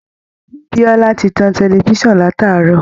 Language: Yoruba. Biola ti tan tẹlifisan látàárọ̀